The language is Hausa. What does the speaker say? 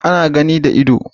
Ana gani da ido